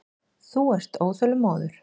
Þú ert óþolinmóður.